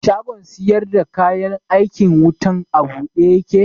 Shagon sayar da kayan aikin wutan a buɗe ya ke